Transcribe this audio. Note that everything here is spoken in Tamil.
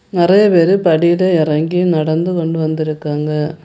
நெறைய பேரு படியில எறங்கி நடந்து கொண்டு வந்துருக்காங்க.